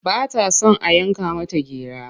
Ba ta son a yanka mata gira.